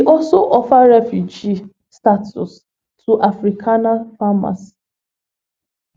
also offer refugee status to afrikaner farmers